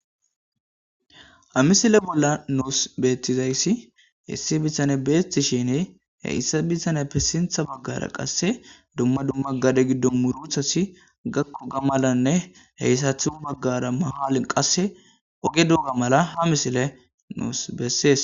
Ha misile bolla nus bettizayssi issi bittaney betishin hessa bittaneppe sintha bagara dumma dumma gade giddon betiza muruttati gakkoga malanne sintha bagara mahalen qase oge doorra mala misile nus besses.